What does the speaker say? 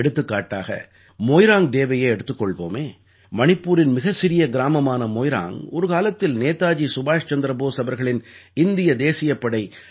எடுத்துக்காட்டாக மோய்ராங்க் டேவையே எடுத்துக் கொள்வோமே மணிப்பூரின் மிகச் சிறிய கிராமமான மோய்ராங்க் ஒரு காலத்தில் நேதாஜி சுபாஷ் சந்திர போஸ் அவர்களின் இந்திய தேசியப் படை ஐ